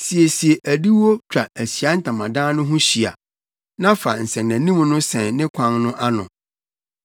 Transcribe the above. Siesie adiwo twa Ahyiae Ntamadan no ho hyia na fa nsɛnanim no sɛn ne kwan no ano.